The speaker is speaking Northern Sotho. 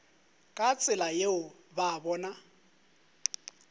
ka tsela yeo ba bona